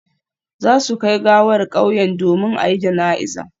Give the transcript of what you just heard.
Za su kai gawar kauyen domin a yi jana'iza